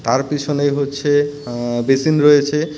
আর পিছনে হচ্ছে এ্যা বেসিন রয়েছে।